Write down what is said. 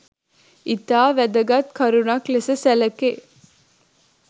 ඉතා වැදගත් කරුණක් ලෙස සැලකේ.